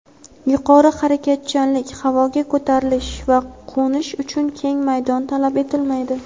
yuqori harakatchanlik: havoga ko‘tarilish va qo‘nish uchun keng maydon talab etilmaydi.